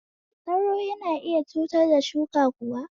Sauro yana iya cutar da shuka kuwa?